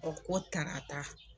U ko tarata.